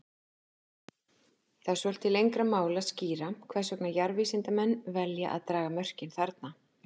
Það er svolítið lengra mál að skýra hvers vegna jarðvísindamenn velja að draga mörkin þarna.